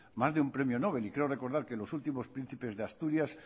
más de un premio nobel creo recordar que los últimos príncipes de asturias